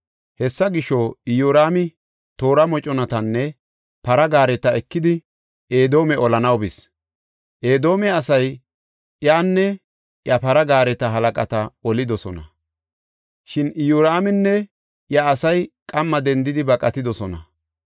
Hessa gisho, Iyoraami toora moconatanne para gaareta ekidi Edoome olanaw bis. Edoome asay iyanne iya para gaareta halaqata olidosona. Shin Iyoraaminne iya asay qamma dendidi baqatidosona.